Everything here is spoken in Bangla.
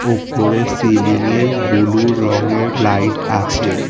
ওপরে সিলিংয়ে বুলু রঙের লাইট আছে।